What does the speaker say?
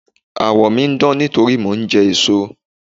Àwọ̀ mi ń dán nítorí mò ń jẹ èso.